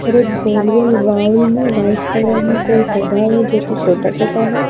हर एक गोल-गोल वाऊल में वाइट कलर में कोई पौधा है जो कि छोटा-छोटा है।